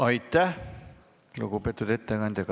Aitäh, lugupeetud ettekandja!